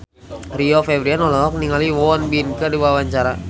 Rio Febrian olohok ningali Won Bin keur diwawancara